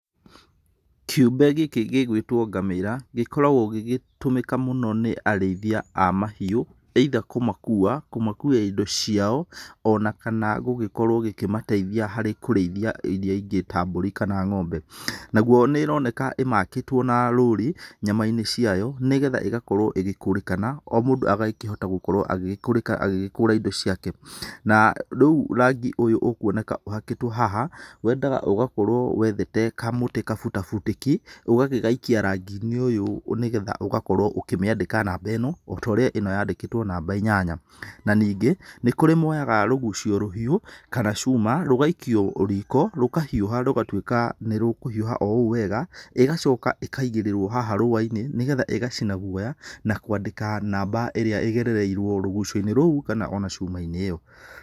Kĩũmbe gĩkĩ gĩgwĩtwo ngamĩra, gĩkoragwo gĩgĩtũmĩka mũno nĩ arĩithia a mahiũ, either kũmakua, kũmakuĩra indo ciao, o na kana gũgĩkorwo gĩkĩmateithia harĩ kũrĩithia iria ingĩ ta mbũrĩ kana ng'ombe. Naguo nĩ ĩroneka ĩmakĩtwo na rũri nyama-inĩ ciayo, nĩgetha ĩgakorwo ĩgĩkũrĩkana, o mũndũ agakĩhota gũkorwo agĩkũrĩka , agĩgĩkũra indo ciake, na rĩu rangi ũyũ ũkuoneka ũhakĩtwo haha, wendaga ũgakorwo wethete kamũtĩ gabutabutĩki, ũgagĩgaikia rangĩ-inĩ ũyũ nĩgetha ũga korwo ũkĩmĩandĩka namba ĩno, o ta ũrĩa ĩno yandĩkĩtwo namba inyanya. Na ningĩ, nĩ kũrĩ moyaga rũgucio rũhiũ, kana cuma, rũgaikio riko, rũkahiũha, rũgatuĩka nĩ rũkũhiũha o ũũ wega, ĩgacoka ĩkaigĩrĩrwo haha rũa-inĩ, nĩgetha ĩgacina guoya na kwandĩka namba ĩrĩa ĩgerereirwo rũgucio-inĩ rũu kana o na cuma-inĩ ĩyo.